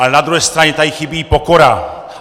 Ale na druhé straně tady chybí pokora.